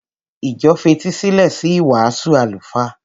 Ìjọ fetísílẹ̀ sí ìwàásù àlùfáà.